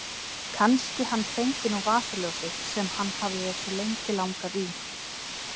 Kannski hann fengi nú vasaljósið sem hann hafði svo lengi langað í.